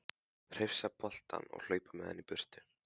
Hrifsa boltann og hlaupa með hann í burtu.